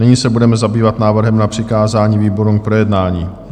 Nyní se budeme zabývat návrhem na přikázání výborům k projednání.